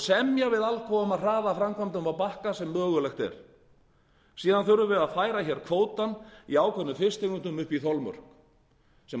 semja við alcoa um að hraða framkvæmdum á bakka sem mögulegt er síðan þurfum við að færa kvótann í ákveðnum fisktegundum upp í þolmörk